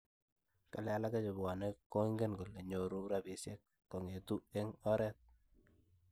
kale alak chepwone kongen kolenyoru rapisiek kongetu en oreet